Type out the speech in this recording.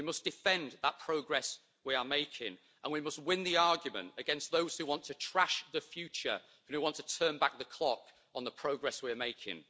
We must defend that progress we are making, and we must win the argument against those who want to trash the future and who want to turn back the clock on the progress we are making.